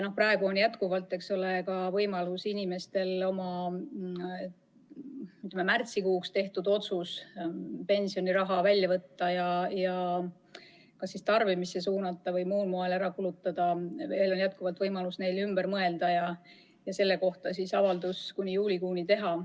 Praegu on inimestel jätkuvalt võimalik oma, ütleme, märtsikuuks tehtud otsuse puhul pensioniraha välja võtta ja tarbimisse suunata või muul moel ära kulutada ümber mõelda ja selle kohta hiljemalt juulikuus avaldus esitada.